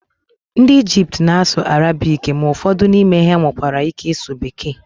ndị Ijipt na-asụ Arabiki ma ụfọdụ n'ime ha nwekwara ike ịsụ bekee